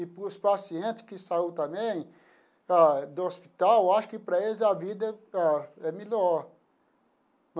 E para os paciente que saiu também ah do hospital, eu acho que para eles a vida ó é melhor.